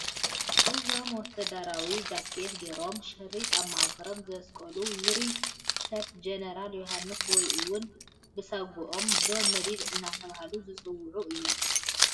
እዞም ወታደራዊ ጃኬት ገይሮም ሽሪጥ ኣብ ማእገሮም ዘስቀሉ ውሩይ ሰብ ጀነራል ዮሃንስ ወይ እውን ብሳጒኦም ጆን መዲድ እናተባህሉ ዝፅውዑ እዮም፡፡